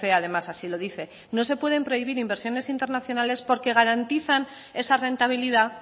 además así lo dice no se pueden prohibir inversiones internacionales porque garantizan esa rentabilidad